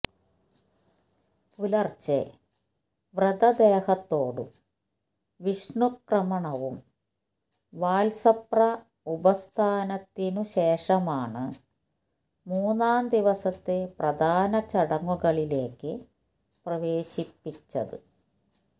പുലര്ച്ചെ വ്രതദേഹത്തോടും വിഷ്ണുക്രമണവും വാത്സപ്ര ഉപസ്ഥാപനത്തിനുശേഷമാണ് മൂന്നാം ദിവസത്തെ പ്രധാന ചടങ്ങുകളിലേക്ക് പ്രവേശിപ്പിച്ചത്